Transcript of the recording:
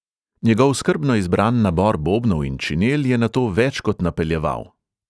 Njegov skrbno izbran nabor bobnov in činel je na to več kot napeljeval.